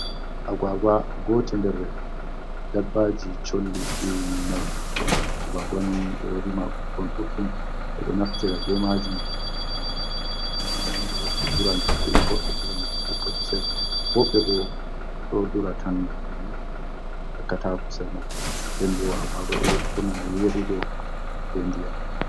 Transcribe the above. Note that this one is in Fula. Agwagwa gotel der dabbaji Sholli ɗi men mari. Agwagwani ɗo rima ɓikkon ɗudɗum ɓe ɗo Naftira be majum ha Nyamande wobɓe dura ngam fila, Wobɓe dura ngam Ekka kusel .wobɓe bo ɗo dura tan banni ngam yakkata kusel man. Nden bo Agwagwa ɗo bura yeɗugo be Ndiyam.